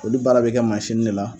Olu baara bɛ kɛ masine de la.